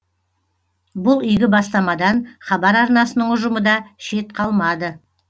бұл игі бастамадан хабар арнасының ұжымы да шет қалмады